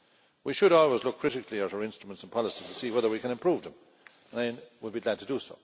We should always look critically at our instruments and policies to see whether we can improve them, and I will be glad to do.